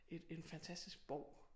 Et en fantastisk borg